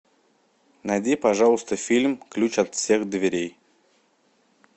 найди пожалуйста фильм ключ от всех дверей